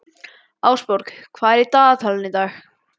Ásborg, hvað er á dagatalinu í dag?